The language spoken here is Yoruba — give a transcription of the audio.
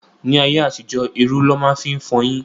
Ní ayé àtijó, érú lọ máa ń fi fọyín.